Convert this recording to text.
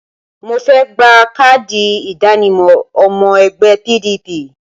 Mo fẹ́ gba káàdì ìdánimọ̀ ọmọ ẹgbẹ́ PDP